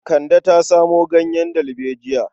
Kande ta samo ganyen dalbejiya.